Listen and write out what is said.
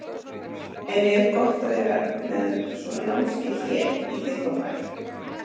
En er gott að vera með svona námskeið hér í Þykkvabæ?